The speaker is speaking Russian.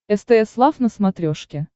стс лав на смотрешке